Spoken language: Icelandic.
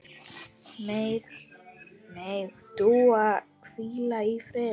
Megi Dúa hvíla í friði.